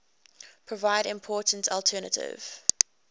provide important alternative